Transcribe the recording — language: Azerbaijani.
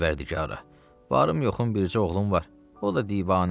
Pərvərdigara, varım yoxum bircə oğlum var, o da divanə.